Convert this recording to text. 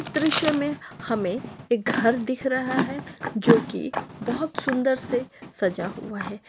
दृश्य मे हमें एक घर दिख रहा हैं जो की बहुत सुंदर से सजा हुवा हैं।